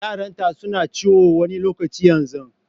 Yaranta su na ciwo na wani lokaci yanzun.